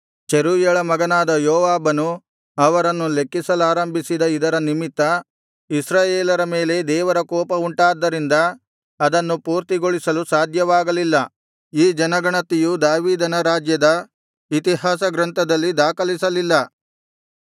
ಚೆರೂಯಳ ಮಗನಾದ ಯೋವಾಬನು ಅವರನ್ನು ಲೆಕ್ಕಿಸಲಾರಂಭಿಸಿದ ಇದರ ನಿಮಿತ್ತ ಇಸ್ರಾಯೇಲರ ಮೇಲೆ ದೇವರ ಕೋಪವುಂಟಾದ್ದರಿಂದ ಅದನ್ನು ಪೂರ್ತಿಗೊಳಿಸಲು ಸಾಧ್ಯವಾಗಲಿಲ್ಲ ಈ ಜನಗಣತಿಯು ದಾವೀದನ ರಾಜ್ಯದ ಇತಿಹಾಸ ಗ್ರಂಥದಲ್ಲಿ ದಾಖಲಿಸಲಿಲ್ಲ